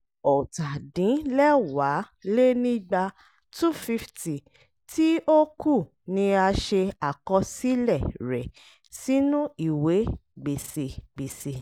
ọ̀tàdínlẹ́wàálénígba(250) tí ó kù ni a ṣe àkọsílẹ̀ rẹ̀ sínu ìwé gbèsè gbèsè